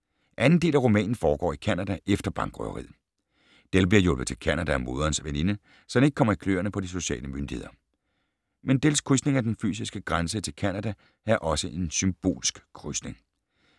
Anden del af romanen foregår i Canada efter bankrøveriet. Dell bliver hjulpet til Canada af moderens veninde, så han ikke kommer i kløerne på de sociale myndigheder. Men Dells krydsning af den fysiske grænse til Canada er også en symbolsk krydsning.